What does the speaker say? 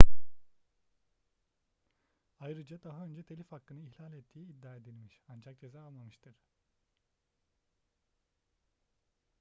ayrıca daha önce telif hakkını ihlal ettiği iddia edilmiş ancak ceza almamıştır